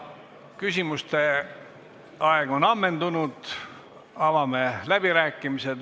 Küsimuste aeg on ammendunud, avame läbirääkimised.